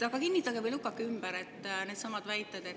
Aga kinnitage või lükake ümber needsamad väited.